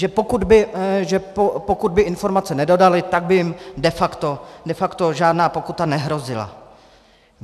"že pokud by informace nedodali, tak by jim de facto žádná pokuta nehrozila."